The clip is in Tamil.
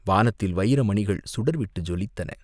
வானத்தில் வைரமணிகள் சுடர்விட்டு ஜொலித்தன.